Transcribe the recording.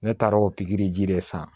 Ne taara o pikiri ji de san